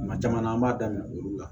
Kuma caman na an b'a daminɛ olu la